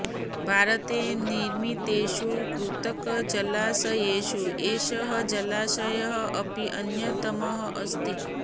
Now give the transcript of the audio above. भारते निर्मितेषु कृतकजलाशयेषु एषः जलाशयः अपि अन्यतमः अस्ति